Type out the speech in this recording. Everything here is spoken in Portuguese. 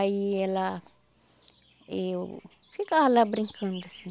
Aí ela... Eu ficava lá brincando, assim.